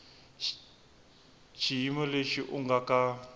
xiyimo lexi u nga ka